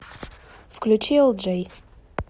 включи элджей